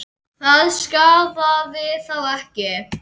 Það skaðaði þá ekki.